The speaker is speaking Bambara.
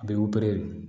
A bɛ